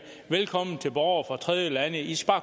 velkommen til borgere fra tredjelande i skal